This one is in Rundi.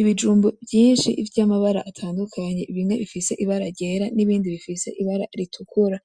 Ibijumbu vyinshi vy'amabara atandukanye bimwe bifise ibara ryera n'ibindi bifise ibara ritukura,